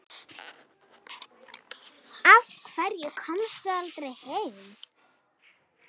Af hverju komstu aldrei heim?